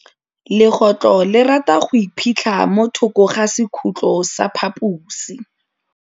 Legôtlô le rata go iphitlha mo thokô ga sekhutlo sa phaposi.